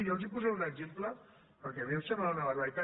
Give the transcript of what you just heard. jo els posaré un exemple perquè a mi em sembla una barbaritat